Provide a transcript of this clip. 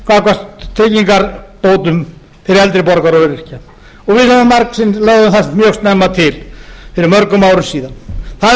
gagnvart tryggingabótum fyrir eldri borgara og öryrkja og við lögðum það mjög snemma til fyrir mörgum árum síðan það er nú orðið að